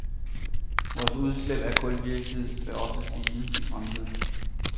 Vores udslip af kuldioxid vil også stige i fremtiden.